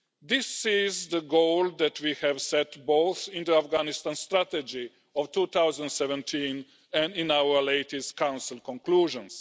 This is the goal that we set both in the Afghanistan strategy of 2017 and in our latest Council conclusions.